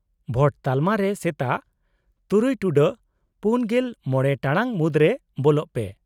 -ᱵᱷᱳᱴ ᱛᱟᱞᱢᱟ ᱨᱮ ᱥᱮᱛᱟᱜ ᱖ᱹ᱔᱕ ᱴᱟᱲᱟᱝ ᱢᱩᱫᱨᱮ ᱵᱚᱞᱚᱜ ᱯᱮ ᱾